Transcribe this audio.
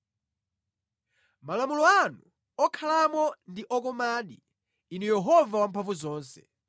Malo anu okhalamo ndi okomadi, Inu Yehova Wamphamvuzonse!